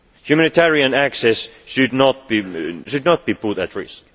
objectives. Humanitarian access should not be